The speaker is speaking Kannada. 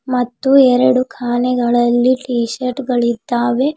ಮತ್ತು ಎರಡು ಕಾನೆಗಳಲ್ಲಿ ಟೀಶರ್ಟ್ ಗಳಿದ್ದಾವೆ.